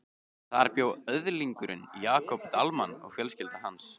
Þar bjó öðlingurinn Jakob Dalmann og fjölskylda hans.